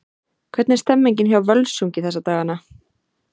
Hvernig er stemningin hjá Völsungi þessa dagana?